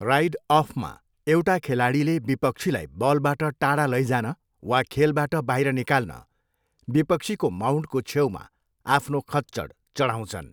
Ride अफमा, एउटा खेलाडीले विपक्षीलाई बलबाट टाढा लैजान वा खेलबाट बाहिर निकाल्न विपक्षीको माउन्टको छेउमा आफ्नो खच्चड चढाउँछन्।